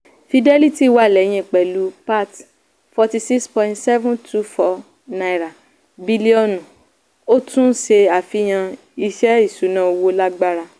fidelity wà lẹ́yìn pẹ̀lú pat forty six point seven two four bilionu ó tún ṣe àfihàn iṣẹ́ ìṣúná owó lágbára.